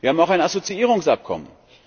Wir haben auch ein Assoziierungsabkommen.